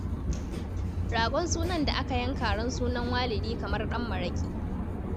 Ragon sunan da aka yanka ran sunan Walidi kamar ɗan maraƙi.